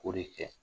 K'o de kɛ